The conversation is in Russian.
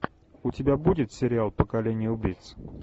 у тебя будет сериал поколение убийц